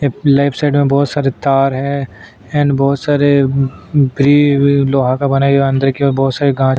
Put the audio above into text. left side में बहुत सारी तार है और बहुत सारे सारे गा--